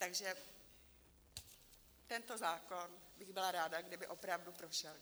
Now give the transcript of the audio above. Takže tento zákon - bych byla ráda - kdyby opravdu prošel.